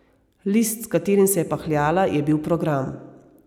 List, s katerim se je pahljala, je bil program.